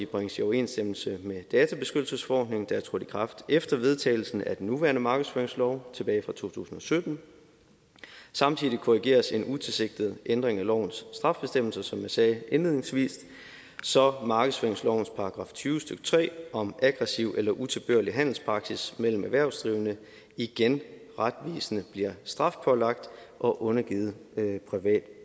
bringes i overensstemmelse med databeskyttelsesforordningen der trådte i kraft efter vedtagelsen af den nuværende markedsføringslov tilbage fra to tusind og sytten samtidig korrigeres en utilsigtet ændring af lovens straffebestemmelse som jeg sagde indledningsvis så markedsføringslovens § tyve stykke tre om aggressiv eller utilbørlig handelspraksis mellem erhvervsdrivende igen retvisende bliver strafbelagt og undergivet privat